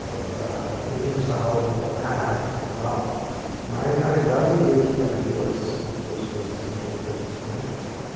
É para pequenos saraus literários e tal, mas na realidade eu tinha duas duas coisas importantes, né.